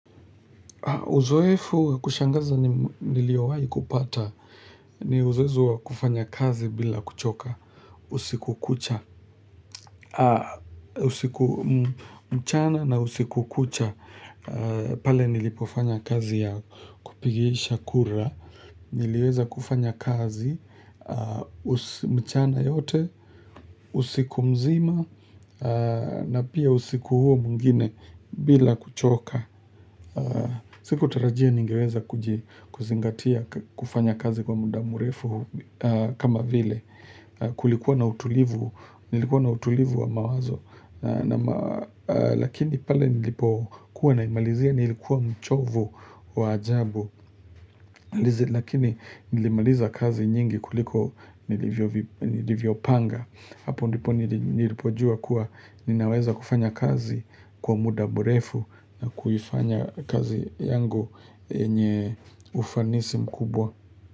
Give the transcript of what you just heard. Uzoefu wakushangaza niliowai kupata, ni uzoefu wa kufanya kazi bila kuchoka, usiku kucha, usiku mchana na usiku kucha, pale nilipofanya kazi ya kupigisha kura, niliweza kufanya kazi, usi mchana yote, usiku mzima, na pia usiku huo mwingine bila kuchoka. Siku tarajia ningeweza kuzingatia kufanya kazi kwa muda murefu kama vile Kulikuwa na utulivu wa mawazo Lakini pale nilipo kuwa naimalizia nilikuwa mchovu wa ajabu Lakini nilimaliza kazi nyingi kuliko nilivyo panga Hapo ndipo nilipojua kuwa ninaweza kufanya kazi kwa muda mrefu na kufanya kazi yangu yenye ufanisi mkubwa.